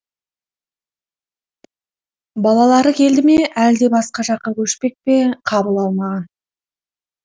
балалары келді ме әлде басқа жаққа көшпек пе қабыл алмаған